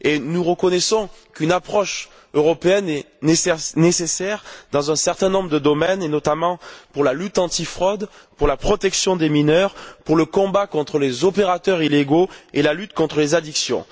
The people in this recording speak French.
Nous reconnaissons qu'une approche européenne est nécessaire dans un certain nombre de domaines et notamment pour la lutte anti fraude, pour la protection des mineurs, pour le combat contre les opérateurs illégaux et la lutte contre les addictions.